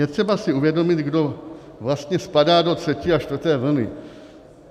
Je třeba si uvědomit, kdo vlastně spadá do třetí a čtvrté vlny.